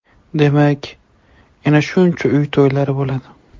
Demak, yana shuncha uy to‘ylari bo‘ladi.